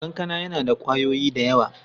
Kankana yana da ƙwayoyi da yawa.